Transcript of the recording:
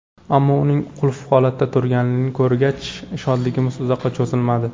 Ammo uning qulf holatda turganligini ko‘rgach, shodligimiz uzoqqa cho‘zilmadi.